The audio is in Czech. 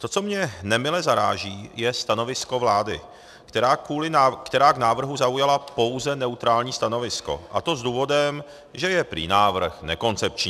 To, co mě nemile zaráží, je stanovisko vlády, která k návrhu zaujala pouze neutrální stanovisko, a to s důvodem, že je prý návrh nekoncepční.